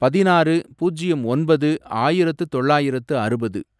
பதினாறு, பூஜ்யம் ஒன்பது, ஆயிரத்து தொள்ளாயிரத்து அறுபது